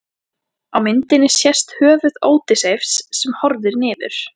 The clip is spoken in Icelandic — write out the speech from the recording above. Á myndinni sést höfuð Ódysseifs sem horfir niður.